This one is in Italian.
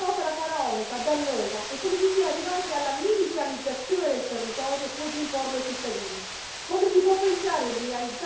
Basti pensare al TAP, a questa opera faraonica, dannosa, e a come si sia arrivati alla militarizzazione del territorio pur di imporla ai cittadini.